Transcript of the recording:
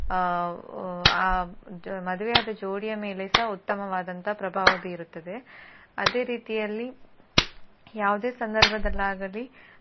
ಆ ಆ ಮದುವೆಯಾದ ಜೋಡಿಯ ಮೇಲೆಸ ಉತ್ತಮವಾದಂತಹ ಪ್ರಭಾವ ಬೀರುತ್ತದೆ ಅದೆ ರೀತಿಯಲ್ಲಿ ಯಾವುದೇ ಸಂದರ್ಭದಲ್ಲಾಗಲಿ